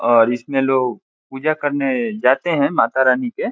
और इसमें लोग पूजा करने जाते हैं मातारानी के।